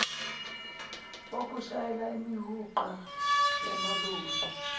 wokushayela imihuqa yamaloli